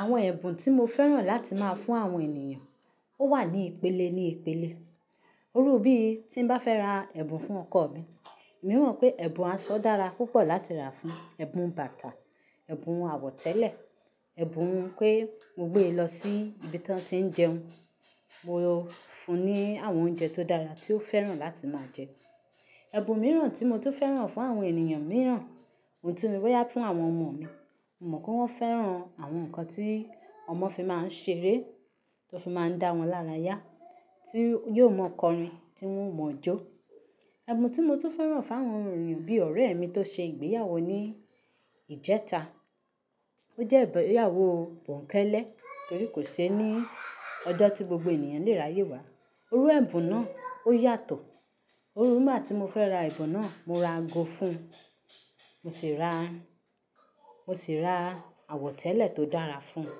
Àwọn ẹ̀bùn tí mo fẹ́ràn láti máa fún àwọn ènìyàn ó wà ní ìpele ní ìpele. Irú bí tí bá fẹ́ ra ẹ̀bùn fún ọkọ mi, mi mọ̀ pé ẹ̀bùn aṣọ dára púpọ̀ láti rà fún, ẹ̀bùn bàtà, ẹ̀bùn àwọ̀tẹ́lẹ̀, ẹ̀bùn pé mo gbé e lọ sí ibi tí wọ́n tí ń jẹun, mo fun ní àwọn oúnjẹ tó dára tí ó fẹ́ràn láti máa jẹ. Ẹ̀bùn mìíràn tí mo tún fẹ́ràn fún àwọn ènìyàn mìíràn, ohun tí mo ní wáyà fún àwọn ọmọ mi, mo mọ̀ pé wọ́n fẹ́ràn àwọn nǹkan tí ọmọ fi máa ń ṣeré, tí ó fi máa ń dá wọn lára yá, tí yóò mọ̀kọrin tí wọn mọ̀ ọ́ jó. Ẹ̀bùn tí mo tún fẹ́ràn fún àwọn ènìyàn bí ọ̀rẹ́ mi tó ṣe ìgbéyàwó ní ìjẹta, ó jẹ́ ìgbéyàwó bòǹkélé torí kò ṣe ní ọjọ́ tí gbogbo ènìyàn lè ráyè wá. Orú ẹ̀bùn náà ó yàtọ̀. Irú nigbà tí mo fẹ́ ra ẹ̀bùn náà, mo ra ago fún un, mo sì ra, mo sì ra àwọ̀tẹ́lẹ̀ tó dára fún un.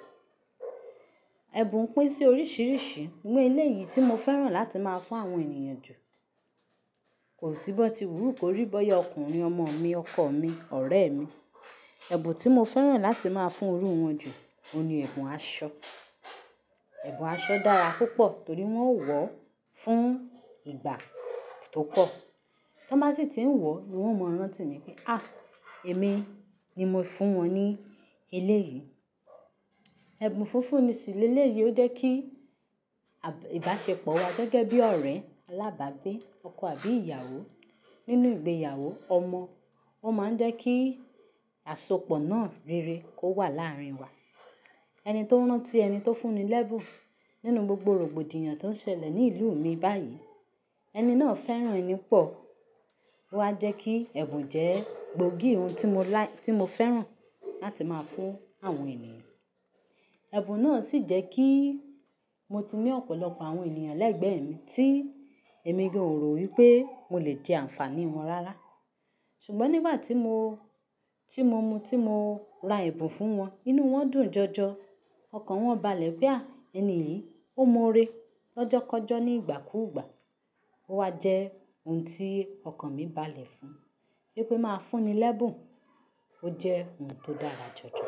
Ẹ̀bùn pín sí oríṣìíríṣìí, imóò ilé yìí tí mo fẹ́ràn láti máa fún àwọn ènìyàn jù, kò sí bọ́ọ̀tì búrúkù rí bọ́yá ọkùnrin, ọmọ mi, ọkọ mi, ọ̀rẹ́ mi, ẹ̀bùn tí mo fẹ́ràn láti máa fún orú wọn jù, òun ni ẹ̀bùn aṣọ. Ẹ̀bùn aṣọ dára púpọ̀ torí wọn ó wọ̀ ọ́ fún ìgbà tó pọ̀. Tí wọ́n bá sì tí ń wọ̀ ọ́, wọn ó mọ̀ rán tí mi pé, à, èmi ni mo fún wọn ní eléyìí. Ẹ̀bùn funfun ni sì lé léyìí ó jẹ́ kí à, ìbáṣepọ̀ wa gẹ́gẹ́ bí ọ̀rẹ́ alábàgbé, ọkọ àbí ìyàwó nínú ìgbéyàwó, ọmọ, ó máa ń jẹ́ kí àsopọ̀ náà rere kó wà láàrin wa. Ẹni tó ń rán tí ẹni tó fún ni lẹ́bùn nínú gbogbo rògbòdìyàn tó ń ṣẹlẹ̀ ní ìlú mi báyìí, ẹni náà fẹ́ràn ẹni pọ̀. Ó wa jẹ́ kí ẹ̀bùn jẹ́ gbòógì ohun tí mo like, tí mo fẹ́ràn láti máa fún àwọn ènìyàn. Ẹ̀bùn náà sì jẹ́ kí mo ti ní ọ̀pọ̀lọpọ̀ àwọn ènìyàn ẹlẹ́gbẹ̀ẹ́ mi tí èmi gàn orò wí pé mo lè jẹ́ àǹfàní wọn rárá. Ṣùgbọ́n nígbà tí mo, tí mo mu, tí mo ra ẹ̀bùn fún wọn, inú wọn dùn jọjọ. Ọkàn wọn balẹ̀ pé, à, ẹni yìí ó mọ ore lọ́jọ́kọ́jọ́ ní ìgbàkúùgbà. Ó wa jẹ́ ohun tí ọkàn mi balẹ̀ fún. Ríi pé máa fún ni lẹ́bùn, ó jẹ́ ohun tó dára jọjọ.